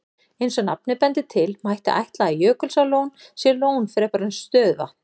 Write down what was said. Eins og nafnið bendir til, mætti ætla að Jökulsárlón sé lón fremur en stöðuvatn.